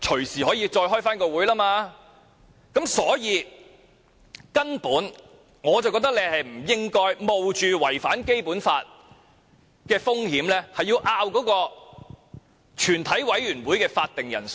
所以，我認為建制派根本不應該冒着違反《基本法》的風險，爭論全體委員會的會議法定人數。